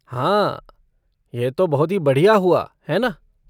हाँ! यह तो बहुत ही बढ़िया हुआ, है ना?